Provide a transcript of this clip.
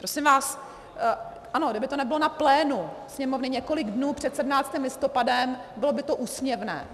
Prosím vás, ano, kdyby to nebylo na plénu Sněmovny několik dnů před 17. listopadem, bylo by to úsměvné.